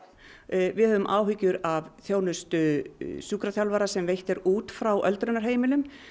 við höfum áhyggjur af þjónustu sjúkraþjálfara sem veitt er út frá öldrunarheimilum